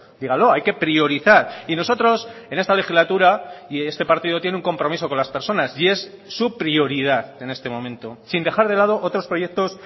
dígalo hay que priorizar y nosotros en esta legislatura y este partido tiene un compromiso con las personas y es su prioridad en este momento sin dejar de lado otros proyectos